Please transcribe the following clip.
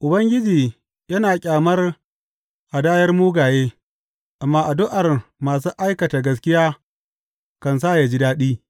Ubangiji yana ƙyamar hadayar mugaye, amma addu’ar masu aikata gaskiya kan sa ya ji daɗi.